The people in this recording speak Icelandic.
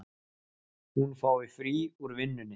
Hún fái frí úr vinnunni.